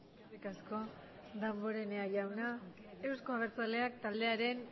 eskerrik asko damborenea jauna euzko abertzaleak taldearen